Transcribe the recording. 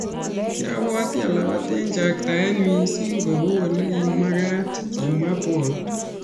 Kiabwoti alapat eng chaktaet missing kou olekimakat, kimwa bolt.